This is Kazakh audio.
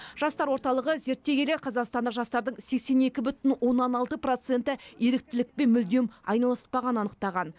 жастар орталығы зерттей келе қазақстандық жастардың сексен екі бүтін оннан алты проценті еріктілікпен мүлдем айналыспағанын анықтаған